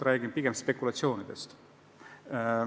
Räägin pigem spekulatsioonidest.